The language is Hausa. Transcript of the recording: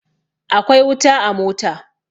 Akwai wuta a mota.